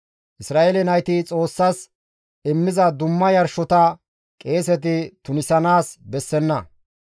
Isra7eele nayti Xoossas immiza dumma yarshota qeeseti tunisanaas bessenna.